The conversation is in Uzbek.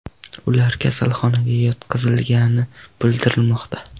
Ular kasalxonaga yotqizilgani bildirilmoqda.